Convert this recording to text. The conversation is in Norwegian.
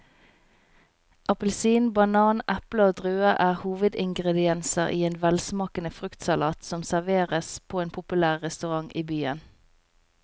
Appelsin, banan, eple og druer er hovedingredienser i en velsmakende fruktsalat som serveres på en populær restaurant i byen.